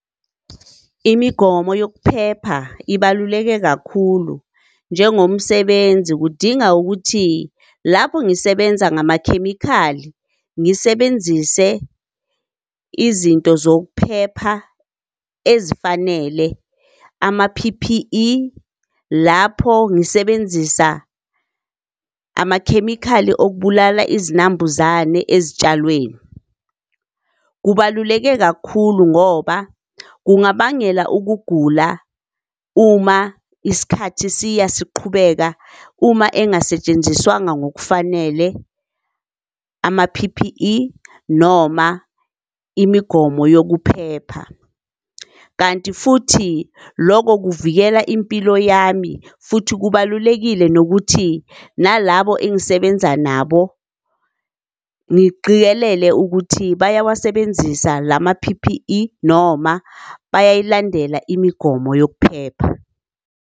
Imigomo yokuphepha ibaluleke kakhulu njengomsebenzi. Kudinga ukuthi lapho ngisebenza ngamakhemikhali ngisebenzise izinto zokuphepha ezifanele, ama-P_P_E lapho ngisebenzisa amakhemikhali okubulala izinambuzane ezitshalweni. Kubaluleke kakhulu ngoba kungabangela ukugula uma isikhathi siya siqhubeka uma engasetshenziswanga ngokufanele ama-P_P_E noma imigomo yokuphepha. Kanti futhi loko kuvikela impilo yami, futhi kubalulekile nokuthi nalabo engisebenza nabo ngiqikelele ukuthi bayawasebenzisa lama-P_P_E noma bayayilandela imigomo yokuphepha.